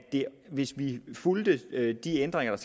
hvis vi fulgte de ændringer der